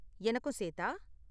எனக்கும் சேத்தா?